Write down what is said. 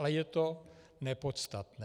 Ale je to nepodstatné.